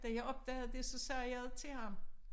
Da jeg opdagede det så sagde jeg det til ham